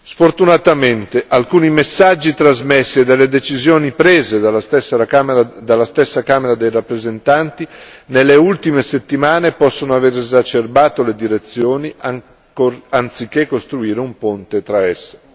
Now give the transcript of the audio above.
Sfortunatamente, alcuni dei messaggi trasmessi e delle decisioni prese dalla stessa Camera dei rappresentanti nelle ultime settimane possono aver esacerbato le direzioni anziché costruire un ponte tra esse.